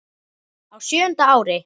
Á sjöunda ári